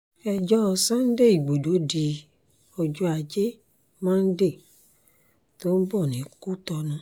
ẹjọ́ sunday igbodò di ọjọ́ ajé monde tó ń bọ̀ ní kútonu